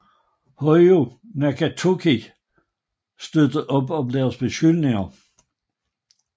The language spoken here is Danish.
Hojo Nakatoki støttede op om deres beskyldninger